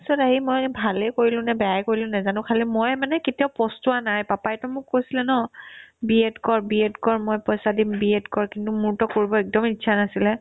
against তত আহি মই ভালে কৰিলো নে বেয়াই কৰিলো নেজানো খালি মই মানে কেতিয়াও পস্তোৱা নাই papa ইতো মোক কৈছিলে ন BED কৰ BED কৰ মই পইচা দিম BED কৰ কিন্তু মোৰতো কৰিব একদমে ইচ্ছা নাছিলে